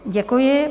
Děkuji.